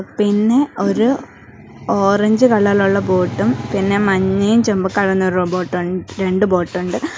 പിന്നെ ഒരു ഓറഞ്ച് കളറിലുള്ള ഉള്ള ബോട്ടും പിന്നെ മഞ്ഞയും ചൊമ കലർന്ന ഒരു റോബോട്ട് ഒണ് രണ്ട് ബോട്ട് ഒണ്ട്.